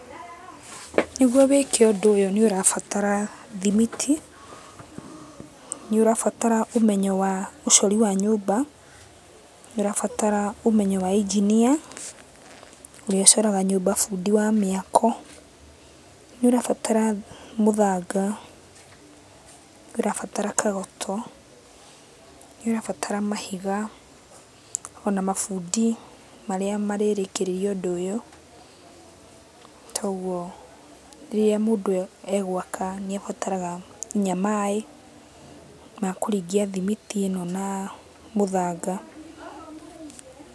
Nĩguo wĩke ũndũ ũyũ nĩũrabatara thimiti, nĩũrabatara ũmenyo wa ũcori wa nyũmba, nĩũrabatara ũmenyo wa engineer [cs, ũrĩa ũcoraga nyũmba bundi wa mĩako, nĩũrabarata mũthanga, nĩũrabarata kagoto, nĩũrabarata mahiga ona mabundi marĩa marĩrĩkĩrĩria ũndũ ũyũ. Toguo rĩrĩa mũndũ egwaka nĩabataraga kinya maĩ ma kũringia thimiti ĩno na mũthanga.